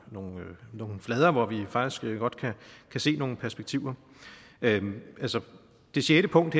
nogle nogle flader hvor vi faktisk godt kan se nogle perspektiver altså det sjette punkt